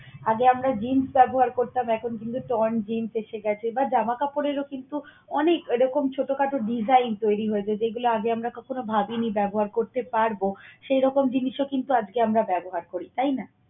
আগে আমরা jeans ব্যবহার করতাম এখন কিন্তু jeans এসে গেছে বা জামা কাপড়েরও কিন্তু অনেক এরকম ছোটখাট design তৈরি হয়েছে যেগুলো আমরা আগে কখনো ভাবিনি ব্যবহার করতে পারব, সেই রকম জিনিসও কিন্তু আজকে আমরা ব্যবহার করি তাই না?